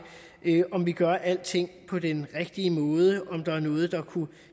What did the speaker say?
om vi gør alting på den rigtige måde og om der er noget der kunne